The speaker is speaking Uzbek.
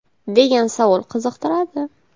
degan savol qiziqtiradi.